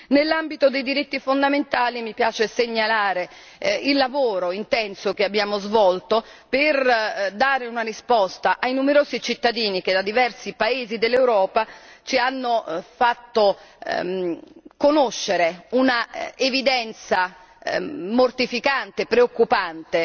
Nel campo dei diritti fondamentali mi piace segnalare il lavoro intenso che abbiamo svolto per dare una risposta ai numerosi cittadini, che da diversi paesi dell'Europa ci hanno fatto conoscere un'evidenza mortificante, preoccupante